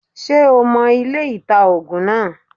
Ṣé o mo ilé-ìta -ògùn naa